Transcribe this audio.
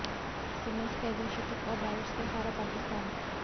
Simmons के अर्धशतक और बारिश से हारा पाकिस्तान